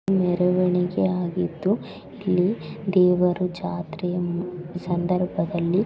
ಮೆರವಣಿಗೆ ಆಗಿದ್ದು ಇಲ್ಲಿ ದೇವರು ಜಾತ್ರೆಯ ಮ್ ಸಂದರ್ಭದಲ್ಲಿ--